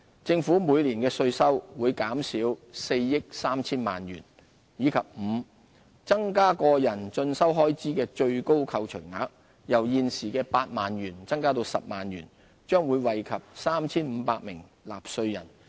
政府每年的稅收會減少4億 3,000 萬元；及五增加個人進修開支的最高扣除額，由現時8萬元增至10萬元，將惠及 3,500 名納稅人。